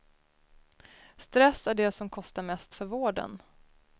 Stress är det som kostar mest för vården.